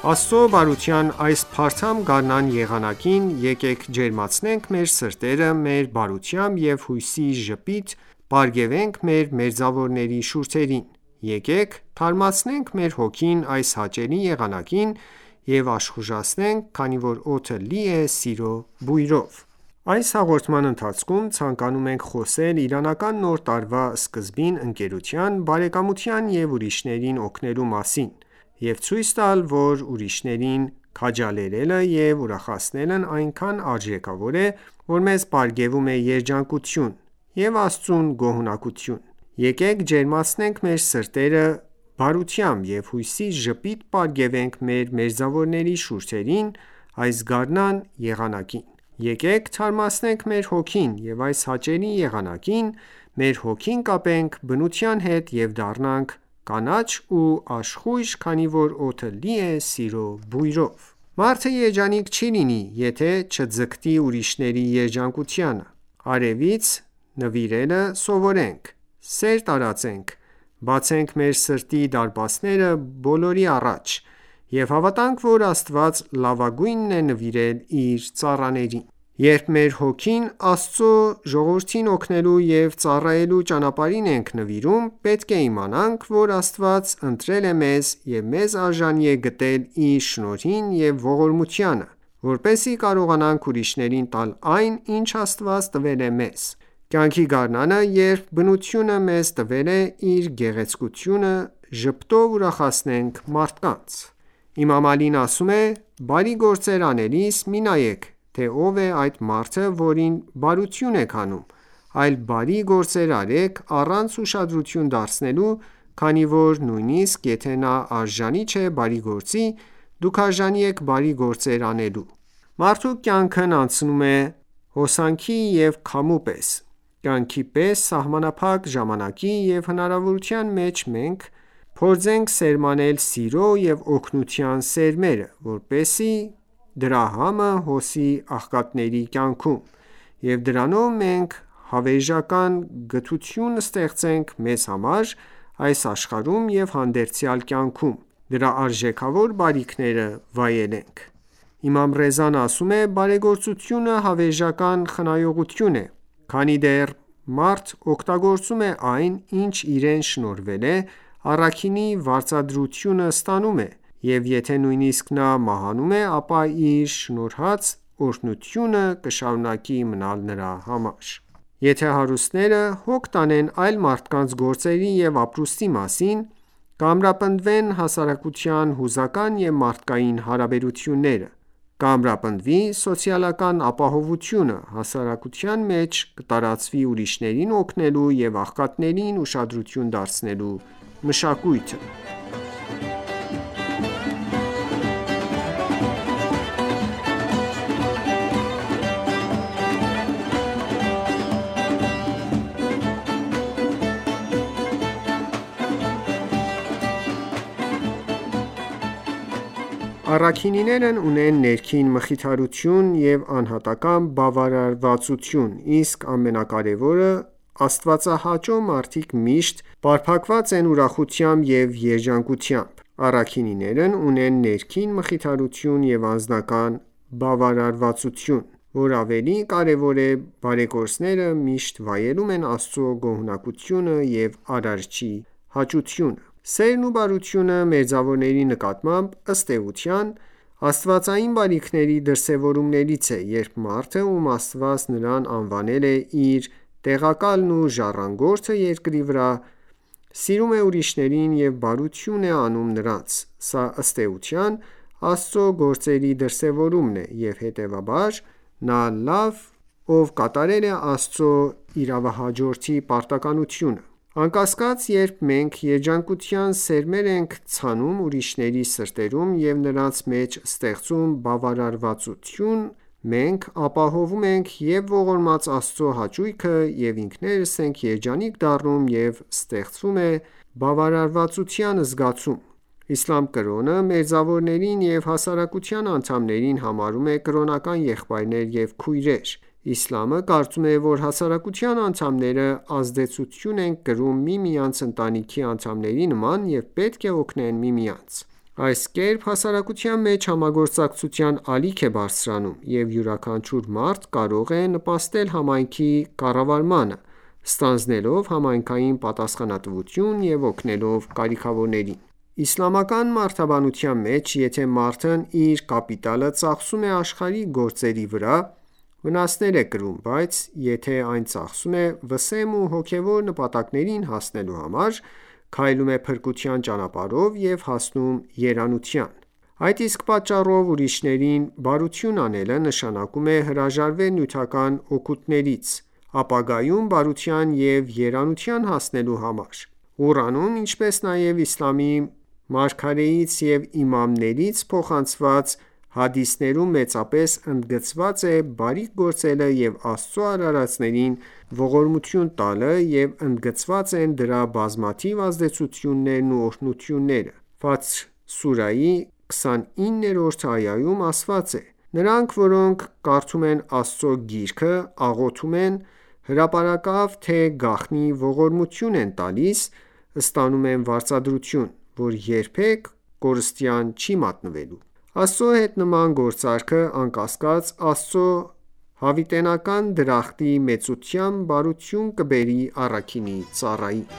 Աստծո բարության այս փարթամ գարնան եղանակին եկեք ջերմացնենք մեր սրտերը մեր բարությամբ և հույսի ժպիտ պարգևենք մեր մերձավորների շուրթերին: Եկեք թարմացնենք մեր հոգին այս հաճելի եղանակին և աշխուժանանք քանի որ օդը լի է սիրո բույրով։ Այս հաղորդման ընթացքում ցանկանում ենք խոսել իրանական նոր տարվա սկզբին ընկերության, բարեկամության և ուրիշներին օգնելու մասին և ցույց տալ, որ ուրիշներին քաջալերելը և ուրախացնելն այնքան արժեքավոր է, որ մեզ պարգևում է երջանկություն, և՛ Աստծուն գոհունակություն: Եկեք ջերմացնենք մեր սրտերը բարությամբ և հույսի ժպիտ պարգևենք մեր մերձավորների շուրթերին այս գարնան եղանակին: Եկեք թարմացնենք մեր հոգին և այս հաճելի եղանակին մեր հոգին կապենք բնության հետ և դառնանք կանաչ ու աշխույժ քանի որ օդը լի է սիրո բույրով։ Մարդը երջանիկ չի լինի, եթե չձգտի ուրիշների երջանկությանը։ Արևից նվիրելը սովորենք, սեր տարածենք, բացենք մեր սրտի դարպասները բոլորի առաջ և հավատանք, որ Աստված լավագույնն է նվիրել իր ծառաներին: Երբ մեր հոգին Աստծո ժողովրդին օգնելու և ծառայելու ճանապարհին ենք նվիրում, պետք է իմանանք, որ Աստված ընտրել է մեզ և մեզ արժանի է գտել իր շնորհին ու ողորմությանը, որպեսզի կարողանանք ուրիշներին տալ այն, ինչ Աստված տվել է մեզ: Կյանքի գարնանը, երբ բնությունը մեզ տվել է իր գեղեցկությունը, ժպիտով ուրախացնենք մարդկանց։ Իմամ Ալին ասում է. «Բարի գործեր անելիս մի նայեք, թե ով է այդ մարդը որին բարություն եք անում, այլ բարի գործեր արեք առանց ուշադրություն դարձնելու, քանի որ նույնիսկ եթե նա արժանի չէ բարի գործի, դուք արժանի եք բարի գործեր անելու»։ Մարդու կյանքն անցնում է հոսանքի և քամու պես, կյանքի այս սահմանափակ ժամանակի և հնարավորության մեջ մենք փորձենք սերմանել սիրո և օգնության սերմերը, որպեսզի դրա համը հոսի աղքատների կյանքում, և դրանով մենք հավերժական գթություն ստեղծենք մեզ համար՝ այս աշխարհում և հանդերձյալ կյանքում դրա արժեքավոր բարիքները վայելենք: Իմամ Ռեզան ասում է. «Բարեգործությունը հավերժական խնայողություն է»: Քանի դեռ մարդ օգտագործում է այն, ինչ իրեն շնորհվել է, առաքինի վարձատրությունը ստանում է, և եթե նույնիսկ նա մահանում է, ապա իր շնորհածի օրհնությունը կշարունակվի մնալ նրա համար: Եթե ​​հարուստները հոգ տանեն այլ մարդկանց գործերի և ապրուստի մասին, կամրապնդվեն հասարակության հուզական և մարդկային հարաբերությունները, կամրապնդվի սոցիալական ապահովությունը, հասարակության մեջ կտարածվի ուրիշներին օգնելու և աղքատներին ուշադրություն դարձնելու մշակույթը։ Առաքինիներն ունեն ներքին մխիթարություն և անհատական ​​բավարարվածություն, իսկ ամենակարևորը՝ Աստվածահաճո մարդիկ միշտ պարփակված են ուրախությամբ և երջանկությամբ: Առաքինիներն ունեն ներքին մխիթարություն և անձնական բավարարվածություն, և որ ավելի կարևոր է՝ բարեգործները միշտ վայելում են Աստծու գոհունակությունը և Արարչի հաճությունը: Սերն ու բարությունը մերձավորների նկատմամբ, ըստ էության, աստվածային բարիքների դրսևորումներից է, երբ մարդը, ում Աստված նրան անվանել է իր տեղակալն ու ժառանգորդը երկրի վրա, սիրում է ուրիշներին և բարություն է անում նրանց, սա, ըստ էության, Աստծո գործերի դրսևորումն է, և հետևաբար, նա լավ է կատարել Աստծո իրավահաջորդի պարտականությունը։ Անկասկած, երբ մենք երջանկության սերմեր ենք ցանում ուրիշների սրտերում և նրանց մեջ ստեղծում բավարարվածության զգացում, մենք ապահովում ենք և՛ ողորմած Աստծո հաճույքը, և՛ ինքներս ենք երջանիկ դառնում, և ստեղծվում է բավարարվածության զգացում: Իսլամ կրոնը, մերձավորներին և հասարակության անդամներին համարում է կրոնական եղբայրներ և քույրեր: Իսլամը կարծում է, որ հասարակության անդամները ազդեցություն են կրում միմյանցից ընտանիքի անդամների նման և պետք է օգնեն միմյանց: Այս կերպ հասարակության մեջ համագործակցության ալիք է բարձրանում, և յուրաքանչյուր մարդ կարող է նպաստել համայնքի կառավարմանը՝ ստանձնելով համայնքային պատասխանատվություն և օգնելով կարիքավորներին: Իսլամական մարդաբանության մեջ, եթե մարդն իր կապիտալը ծախսում է աշխարհիկ գործերի վրա, վնասներ է կրում, բայց եթե այն ծախսում է վսեմ ու հոգևոր նպատակներին հասնելու համար, քայլում է փրկության ճանապարհով և հասնում երանության: Այդ իսկ պատճառով ուրիշներին բարություն անելը նշանակում է հրաժարվել նյութական օգուտներից, ապագայում բարության և երանության հասնելու համար: Սուրբ Ղուրանում, ինչպես նաև իսլամի մարգարեից և իմամներից փոխանցված հադիսներում մեծապես ընդգծված է բարիք գործելը և Աստծո արարածներին ողորմություն տալը և ընդգծված են դրա բազմաթիվ ազդեցություններն ու օրհնությունները: Ֆաթեր սուրահի 29-րդ այայում, ասված է «Նրանք, որոնք կարդում են Աստծո Գիրքը, աղոթում են, հրապարակավ թե գաղտնի ողորմություն են տալիս, ստանում են վարձատրություն, որ երբեք կորստյան չի մատնվելու»: Աստծո հետ նման գործարքը, անկասկած, Աստծո հավիտենական դրախտի մեծությամբ բարություն կբերի առաքինի ծառային: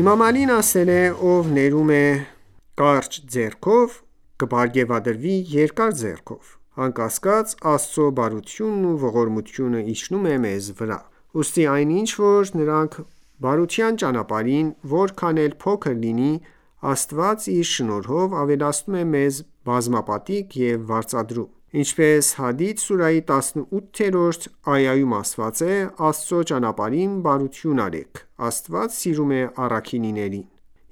Իմամ Ալին ասել է. «Ով ներում է կարճ ձեռքով, կպարգևատրվի երկար ձեռքով»: Անկասկած, Աստծո բարությունն ու ողորմությունը իջնում ​​է մեզ վրա»: Ուստի, այն ինչ որ տանք բարության ճանապարհին, որքան էլ փոքր լինի, Աստված իր շնորհով ավելացնում և մեզ բազմապատիկ է վարձատրում։ Ինչպես Հադիդ սուրահի 18-րդ այայում է ասված.«Աստծո ճանապարհին բարություն արեք: Աստված սիրում է առաքինիներին»։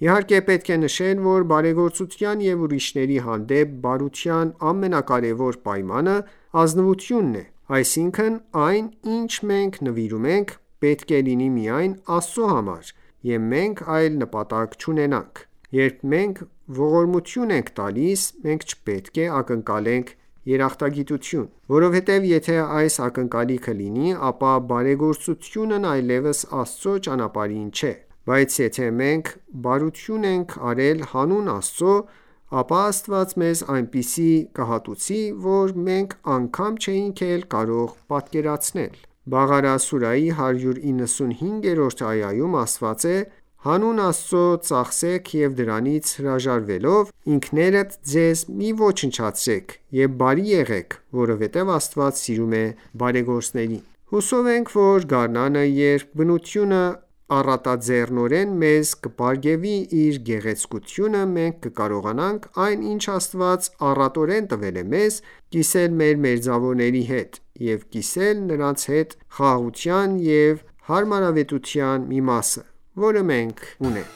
Իհարկե, պետք է նշել, որ բարեգործության և ուրիշների հանդեպ բարության ամենակարեւոր պայմանը ազնվությունն է։ Այսինքն, այն, ինչ մենք նվիրում ենք, պետք է լինի միայն Աստծո համար, և մենք այլ նպատակ չունենանք: Երբ մենք ողորմություն ենք տալիս, մենք չպետք է ակնկալենք երախտագիտություն ։ Որովհետև եթե այս ակնկալիքը լինի, ապա բարեգործությունն այլևս Աստծո ճանապարհին չէ: Բայց եթե մենք բարություն են արել հանուն Աստծո, ապա Աստված մեզ այնպիսի կհատուցի, որ մենք անգամ չէինք էլ կարող պատկերացնել ։ Բաղարա սուրահի 195-րդ այայում ասված է․-Հանուն Աստծո ծախսեք և դրանից հրաժարվելով, ինքներդ ձեզ մի ոչնչացրեք և բարի եղեք, որովհետև Աստված սիրում է բարեգործներին»: Հուսով ենք, որ գարնանը, երբ բնությունը առատաձեռնորեն մեզ կպարգևի իր գեղեցկությունը, մենք կկարողանանք այն, ինչ Աստված առատորեն տվել է մեզ, կիսել մեր մերձավորների հետ և կիսել նրանց հետ խաղաղության և հարմարավետության մի մասը, որը մենք ունենք: